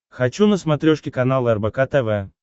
хочу на смотрешке канал рбк тв